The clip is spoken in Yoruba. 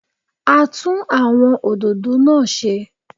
A tún àwọn òdòdó náà ṣe